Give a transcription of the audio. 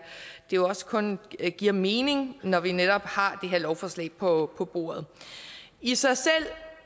jo også kun det giver mening når vi netop har det her lovforslag på på bordet i sig selv